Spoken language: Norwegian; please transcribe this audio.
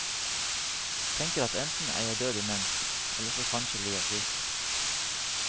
Tenker at enten er jeg død imens, eller så kanskje jeg blir frisk.